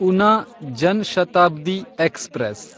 Una Jan Shatabdi express